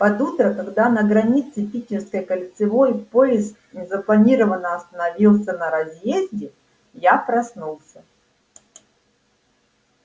под утро когда на границе питерской кольцевой поезд незапланированно остановился на разъезде я проснулся